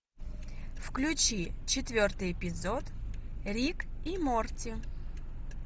включи четвертый эпизод рик и морти